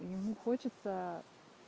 ну хочется